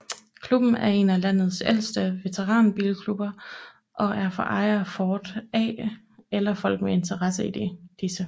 Klubben er en af landets ældste veteranbilklubber og er for ejere af Ford A eller folk med interesse i disse